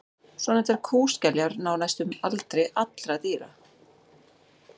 svonefndar kúskeljar ná hæstum aldri allra dýra